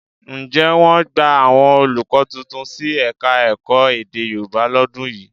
Ǹjẹ́ wọ́n gbà àwọn olùkọ́ tuntun sí Ẹ̀ka-ẹ̀kọ́ èdè Yorùbá lọ́dún yìí?